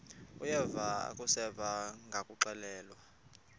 uyeva akuseva ngakuxelelwa